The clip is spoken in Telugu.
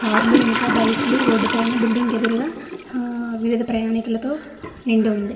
కార్ లు ఇంక బైక్ లు రోడ్ పైన బిల్డింగ్ ఎదురుగా వివిధగా ప్రయాణికులతో నిండి ఉంది.